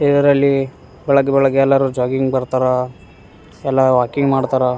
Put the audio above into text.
ಇದರಲ್ಲಿ ಬೆಳಿಗ್ಗೆ ಬೆಳಿಗ್ಗೆ ಎಲ್ಲರೂ ಜಾಗಿಂಗ್ ಬರ್ತಾರಾ ಎಲ್ಲ ವಾಕಿಂಗ್ ಮಾಡ್ತಾರಾ.